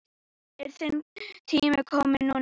Er þinn tími kominn núna?